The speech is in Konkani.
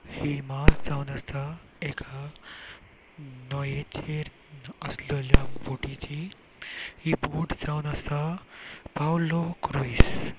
हि मार्ज जावन आसा एका नोयेचेर आस्लेल्या बोटीची ही बोट जावन आसा पाउलो क्रुज .